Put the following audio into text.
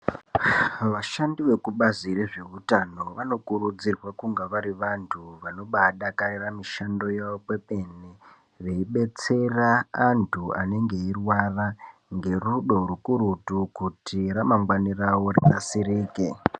Vashandi vekubazi rezveutano vanokurudzirwa kunga vari vantu vanobaadakarira mishando yavo kwemene , veibetsera antu anenge eirwara ngerudo rukurutu kuti ramangwani ravo rinasirike.